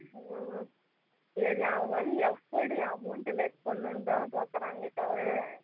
ஆமா இது வந்து அவங்க வந்து எப்படி amount less பண்ணணும்னு தான் பாக்குராங்க தவற